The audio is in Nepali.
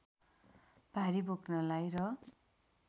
भारी बोक्नलाई र